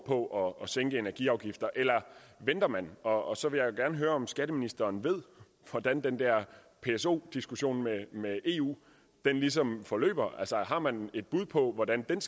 på at sænke energiafgifterne eller venter man og og så vil jeg gerne høre om skatteministeren ved hvordan den der pso diskussion med eu ligesom forløber altså har man et bud på hvordan den